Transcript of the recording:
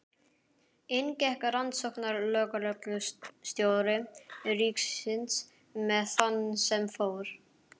Inn gekk rannsóknarlögreglustjóri ríkisins með þann sem fór.